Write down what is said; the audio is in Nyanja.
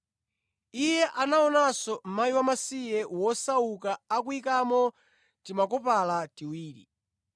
Iye anaonanso mkazi wamasiye wosauka akuyikamo timakopala tiwiri.